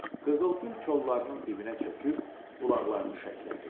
Qızıl gül kollarının dibinə çöküb qulaqlarını şəklədi.